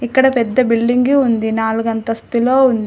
ఇక్కడ పెద్ద బిల్డింగు ఉంది నాలుగు అంతస్తులో ఉంది.